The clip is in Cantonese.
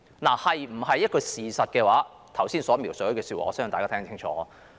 至於這是否事實，我剛才的描述相信大家也聽得清楚了。